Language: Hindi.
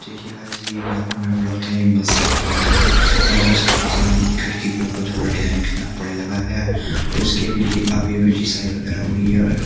देखिए गाइस ये यहाँ पर मेरे को लगता है ये मस्जिद वगैरह है यहाँ पर इसका डिजाइन खिड़की के ऊपर थोड़ा डिजाइन कितना बढ़िया लगा गया और इसकी अभी अभी अभी लिसाई वगैरह हुई है और --